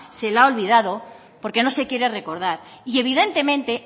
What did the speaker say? se le ha olvidado porque no se quiere recordar y evidentemente